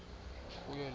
kuyo le nkundla